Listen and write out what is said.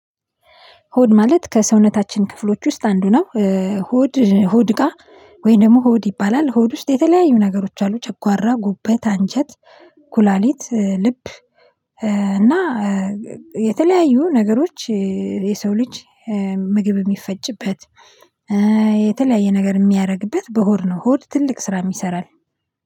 ሆድ ማለት ከሰውነታችን ክፍሎች ውስጥ አንዱ ነው። ሆድ ሆድ እቃ ጋር ወይም ደግሞ ሆድ ይባላል ሆድ ውስጥ የተለያዩ ነገሮች አሉ ጨቋራ ጉበት አንጀት ኩላሊት ልብ። እና የተለያዩ ነገሮች የሰው ልጅ ምግብ የሚፈጭበት። የተለያዩ ነገር የሚያደርግበት በሆድ ነው። ሆድ ትልቅ ስራ ይሰራል